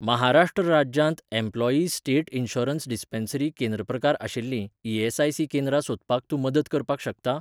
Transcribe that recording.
महाराष्ट्र राज्यांत employees state insurance dispensary केंद्र प्रकार आशिल्लीं ई.एस.आय.सी. केंद्रां सोदपाक तूं मदत करपाक शकता?